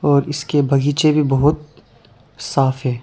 और इसके बगीचे भी बहुत साफ है।